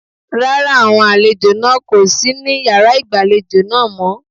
Rárá, àwọn àlejò náà kò sí ní yàrá ìgbàlejò náà mọ́.